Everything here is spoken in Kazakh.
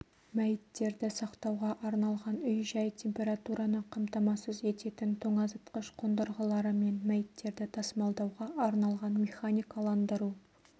мәйіттерді сақтауға арналған үй-жай температураны қамтамасыз ететін тоңазытқыш қондырғыларымен мәйіттерді тасымалдауға арналған механикаландыру